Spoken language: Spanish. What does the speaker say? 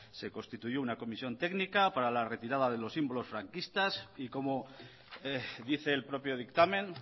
se constituyó una comisión técnica para la retirada de los símbolos franquistas y como dice el propio dictamen